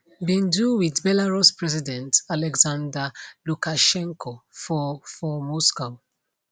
bin do wit belarus president alexander lukashenko for for moscow